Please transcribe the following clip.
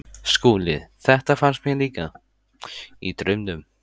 SKÚLI: Þetta fannst mér líka- í draumnum.